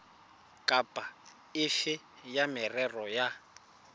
kapa efe ya merero ya